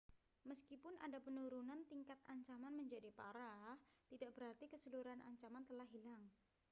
meskipun ada penurunan tingkat ancaman menjadi parah tidak berarti keseluruhan ancaman telah hilang